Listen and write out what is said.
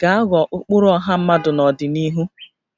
ga-aghọ ụkpụrụ ọha mmadụ n'ọdịnihu